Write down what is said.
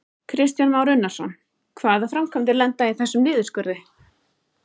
Kristján Már Unnarsson: Hvaða framkvæmdir lenda í þessum niðurskurði?